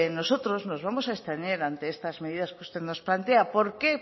nosotros nos vamos a abstener ante estas medidas que usted nos plantea por qué